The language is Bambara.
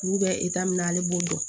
K'u bɛ min na ale b'o dɔn